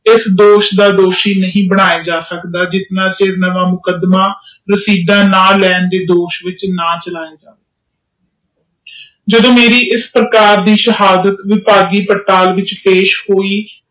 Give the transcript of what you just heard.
ਇਸ ਦੋਸ਼ ਦਾ ਦੋਸ਼ੀ ਨਹੀਂ ਬਣਾਇਆ ਜਾ ਸਕਦਾ ਜਿਸ ਨਾਲ ਮੇਰਾ ਮੁਕਦਮਾ ਨਾਲਚਲਾ ਜਾਇ- ਜਦੋ ਮੇਰੀ ਇਸ ਪ੍ਰਕਾਰ ਦੇ ਸ਼ਹਾਦਤ ਵਿਕਸਹ ਪੇਸ਼ ਹੋਈ ਨੀ